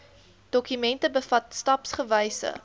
dokument bevat stapsgewyse